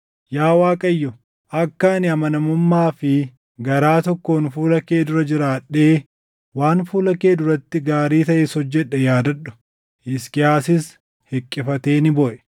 “Yaa Waaqayyo, akka ani amanamummaa fi garaa tokkoon fuula kee dura jiraadhee waan fuula kee duratti gaarii taʼes hojjedhe yaadadhu.” Hisqiyaasis hiqqifatee ni booʼe.